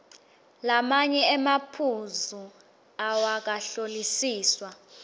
lamanye emaphuzu awakahlolisiswa